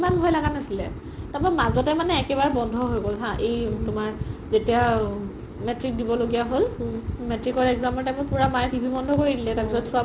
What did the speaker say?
ইমান ভই লাগা নাছিলে তাৰ পাই মাজতে মানে একেবাৰে বন্ধো হয় গ'ল হা এই তোমাৰ যেতিয়া মেট্ৰিক দিব লগিয়া হ'ল মেট্ৰিকৰ exam ৰ time ত পুৰা মাই TV বন্ধো কৰি দিলে তাৰ পিছত চোৱা